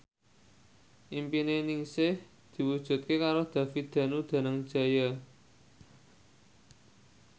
impine Ningsih diwujudke karo David Danu Danangjaya